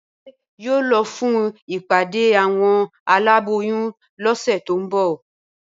Bímpé yóò lọ fún ìpàdé àwọn aláboyún lọ́sẹ̀ tó ń bọ̀